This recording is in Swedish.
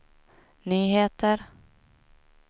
nyheter